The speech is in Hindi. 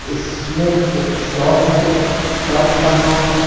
इसमें एक शॉप है शॉप का नाम --